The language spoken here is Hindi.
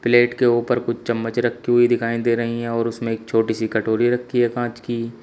प्लेट के ऊपर कुछ चम्मच रखी हुई दिखाई दे रही हैं और उसमें एक छोटी सी कटोरी रखी है कांच की।